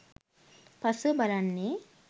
පසුව බලන්නේ